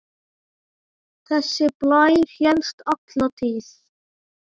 Þessi blær hélst alla tíð.